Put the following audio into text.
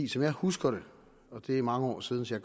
som jeg husker det og det er mange år siden så